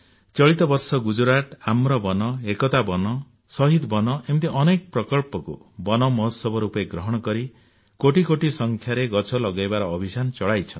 ଚଳିତ ବର୍ଷ ଗୁଜରାଟ ଆମ୍ର ବନ ଏକତା ବନ ଶହୀଦ ବନ ଏମିତି ଅନେକ ପ୍ରକଳ୍ପକୁ ବନ ମହୋତ୍ସବ ରୂପେ ଗ୍ରହଣ କରି କୋଟି କୋଟି ସଂଖ୍ୟାରେ ଗଛ ଲଗାଇବାର ଅଭିଯାନ ଚଳାଇଛନ୍ତି